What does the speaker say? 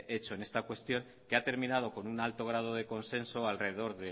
hecho en esta cuestión que ha terminado con un alto grado de consenso alrededor